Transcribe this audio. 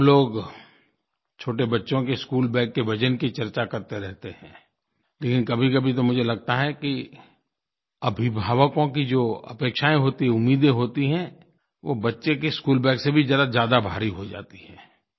हम लोग छोटे बच्चों के स्कूल बाग के वज़न की चर्चा करते रहते हैं लेकिन कभीकभी तो मुझे लगता है कि अभिभावकों की जो अपेक्षायें होती हैं उम्मीदें होती हैं वो बच्चे के स्कूल बाग से भी ज़रा ज़्यादा भारी हो जाती हैं